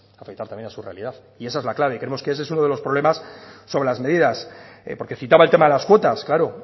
afectar también a su realidad y esa es la clave creemos que ese es uno de los problemas sobre las medidas porque citaba el tema de las cuotas claro